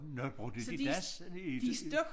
Nåh brugte de das i